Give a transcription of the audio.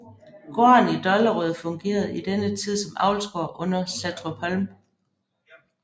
Gården i Dollerød fungerede i denne tid som avlsgård under Satrupholm